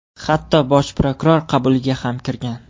Hatto Bosh prokuror qabuliga ham kirgan.